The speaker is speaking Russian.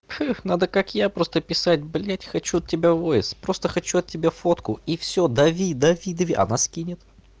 надо как я просто писать блять хочу от тебя воис просто хочу от тебя фотку и всё дави дави дави она скинет